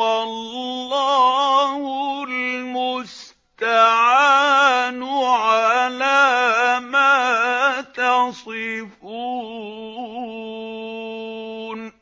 وَاللَّهُ الْمُسْتَعَانُ عَلَىٰ مَا تَصِفُونَ